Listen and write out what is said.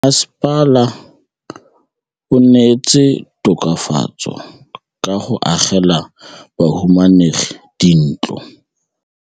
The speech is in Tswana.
Mmasepala o neetse tokafatsô ka go agela bahumanegi dintlo.